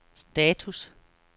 status